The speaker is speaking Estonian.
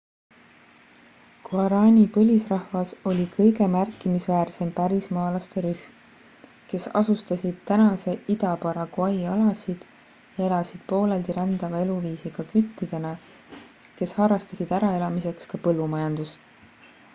guarani põlisrahvas oli kõige märkimisväärsem pärismaalaste rühm kes asustasid tänase ida-paraguay alasid ja elasid pooleldi rändava eluviisiga küttidena kes harrastasid äraelamiseks ka põllumajandust